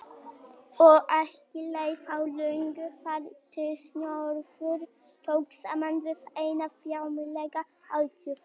Og ekki leið á löngu þar til Snjólfur tók saman við eina, fjallmyndarlega ekkjufrú